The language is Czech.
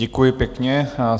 Děkuji pěkně.